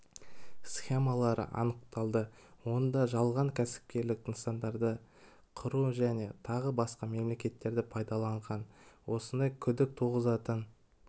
схемалары анықталды онда жалған кәсіпкерлік нысандарды құру және тағы басқа әрекеттерді пайдаланған осындай күдік туғызатын